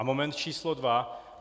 A moment číslo dva?